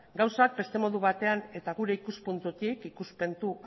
gauzak beste modu batean eta gure ikuspuntutik ikuspuntu